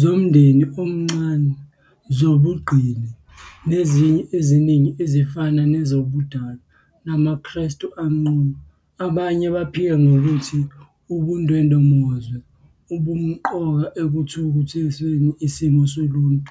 zomndeni omncane, zobungqingili, nezinye eziningi ezifana nezobundalo, namaKristu anqunuabanye baphika ngokuthi, ubundwemozwe, bumqoka ekuthuthukisweni isimo soluntu".